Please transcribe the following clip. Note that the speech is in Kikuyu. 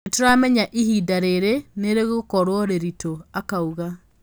"Nituramenyaga ihinda riri ni rigukorwo riritu", Akauga